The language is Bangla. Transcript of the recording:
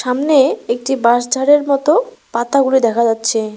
সামনে একটি বাঁশ ঝাড়ের মতো পাতাগুলো দেখা যাচ্ছে।